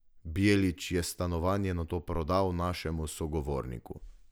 Bjelić je stanovanje nato prodal našemu sogovorniku.